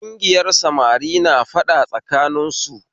Kugiyar samari na faɗa tsakanin su